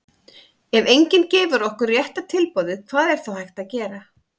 ef enginn gefur okkur rétta tilboðið hvað er þá hægt að gera?